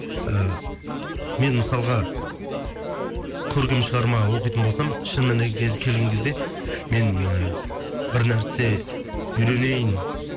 і мен мысалға көркем шығарма оқитын болсам келген кезде мен бір нәрсе үйренейін